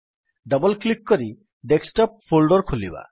double click କରି desktop folder ଖୋଲିବା